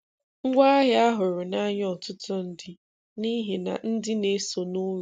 Ngwaahịa a hụrụ n’ànya ọ̀tùtụ̀ ndị n’ihi na ndị na-esonụ ùrụ: